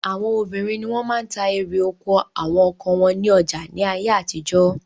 Àwọn obìnrin ni wọ́n máa ń ta erè oko àwọn ọkọ wọn ní ọjà ní ayé àtijọ́.